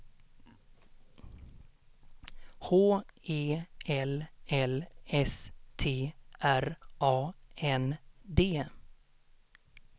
H E L L S T R A N D